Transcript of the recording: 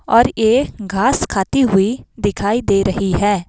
और यह घास खाती हुई दिखाई दे रही है।